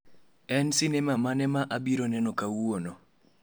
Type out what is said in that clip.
En sinema mane ma abiro neno kawuono?